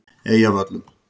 Eyjavöllum